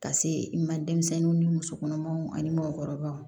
Ka se i ma denmisɛnninw ni musokɔnɔmaw ani mɔkɔrɔbaw